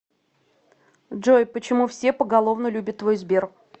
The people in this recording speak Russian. джой почему все поголовно любят твой сбер